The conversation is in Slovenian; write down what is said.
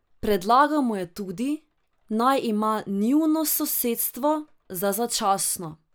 Predlagal mu je tudi, naj ima njuno sosedstvo za začasno.